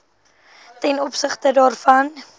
ten opsigte daarvan